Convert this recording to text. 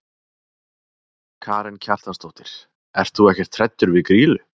Karen Kjartansdóttir: Ert þú ekkert hræddur við Grýlu?